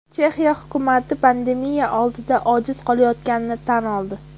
Chexiya hukumati pandemiya oldida ojiz qolayotganini tan oldi.